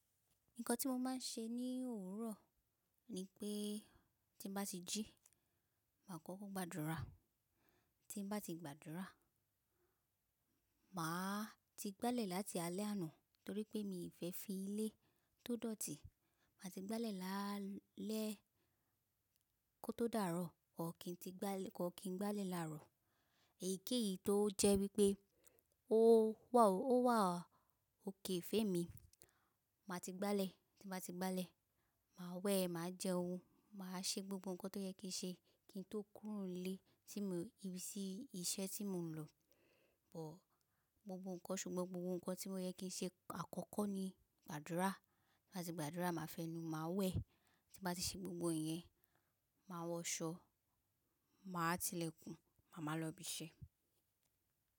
Nǹkan tí mo máa ń ṣe ní òwúrọ̀ ni pé tí bá ti jí, máa kọ́kọ́ gbàdúrà. Tí bá ti gbàdúrà, màá ti gbálẹ̀ láti alẹ́ àná torí pé mi fẹ́ fi ilé tó dọ̀tí. Màá ti gbálẹ̀ lálẹ́ kó tó dàárọ̀, ọ̀kín ti gbálẹ̀, ọ̀kín gbálẹ̀ làárọ̀. Èyíkéyìí tó jẹ́ wípé ó wà ókè fé mi. Màá ti gbálẹ̀, tí bá ti gbálẹ̀, màá wẹ̀, màá jẹ oún, màá ṣe gbogbo ǹkan tó yẹ kí n ṣe kí n tó kúrò nílé sí ibiṣẹ́ tí mò ń lọ. But gbogbo ǹkan ṣùgbọ́n gbogbo ǹkan tí ó yẹ kí n ṣe àkọ́kọ́ ni gbàdúrà. Tí bá ti gbàdúrà, màá fẹnu, màá wẹ̀. Tí bá ti ṣe gbogbo iyẹn, màá wọ aṣọ, màá tilẹ̀kùn, màá máa lọ ibi iṣẹ́.